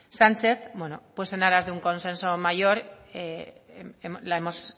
sánchez en aras de un consenso mayor la hemos